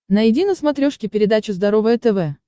найди на смотрешке передачу здоровое тв